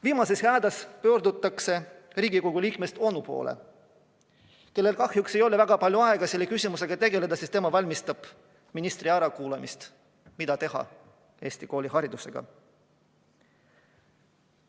Viimases hädas pöörduti Riigikogu liikmest onu poole, kellel kahjuks ei olnud väga palju aega selle küsimusega tegeleda, sest tema valmistas ette ministri ärakuulamist küsimuses, mida teha Eesti kooliharidusega.